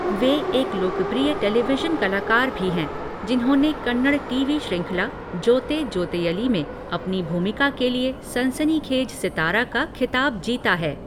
वे एक लोकप्रिय टेलीविजन कलाकार भी हैं, जिन्होंने कन्नड़ टीवी श्रृंखला जोते जोतेयलि में अपनी भूमिका के लिए 'सनसनीखेज सितारा' का खिताब जीता है।